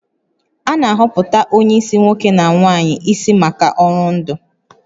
A na-ahọpụta onye isi nwoke na nwanyị isi maka ọrụ ndu